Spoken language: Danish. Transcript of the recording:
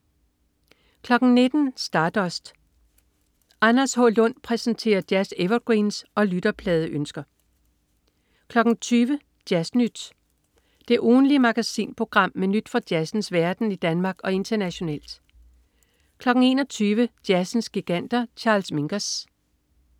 19.00 Stardust. Anders H. Lund præsenterer jazz-evergreens og lytterpladeønsker 20.00 Jazz Nyt. Det ugentlige magasinprogram med nyt fra jazzens verden i Danmark og internationalt 21.00 Jazzens giganter. Charles Mingus